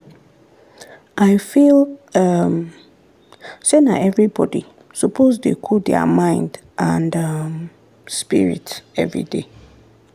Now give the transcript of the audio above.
i feel um say na everybody suppose dey cool der mind and um spirit everyday.